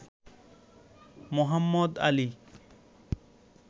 Mohammad Ali